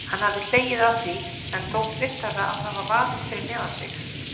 Hann hafði hlegið að því en þótt vissara að hafa vaðið fyrir neðan sig.